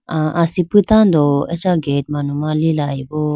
ah asipi tando acha gate manuma litelayiboo.